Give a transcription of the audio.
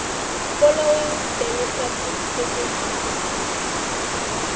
following demographic statistics